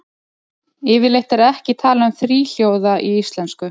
Yfirleitt er ekki talað um þríhljóða í íslensku.